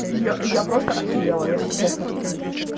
я я просто охерела если честно